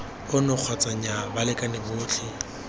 ono kgotsa nnyaa balekane botlhe